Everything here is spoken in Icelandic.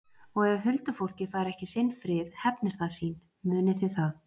Og ef huldufólkið fær ekki sinn frið hefnir það sín, munið þið það.